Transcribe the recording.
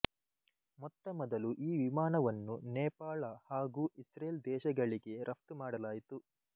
ಮೊತ್ತಮೊದಲು ಈ ವಿಮಾನವನ್ನು ನೇಪಾಳ ಹಾಗೂ ಇಸ್ರೇಲ್ ದೇಶಗಳಿಗೆ ರಫ್ತು ಮಾಡಲಾಯಿತು